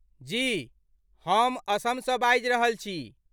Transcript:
जी, हम असमसँ बाजि रहल छी।